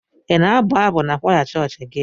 Ị na-abụ abụ n'kwaya chọọchị gị?